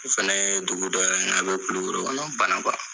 O fɛnɛ ye dugu dɔ ye, a bɛ Kulikoro banan kuwa.